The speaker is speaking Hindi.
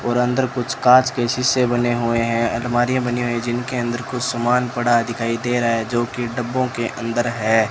और अंदर कुछ कांच के शीशे बने हुए हैं अलमारियां बनी हुई जिनके अंदर कुछ सामान पड़ा दिखाई दे रहा है जो कि डब्बों के अंदर है।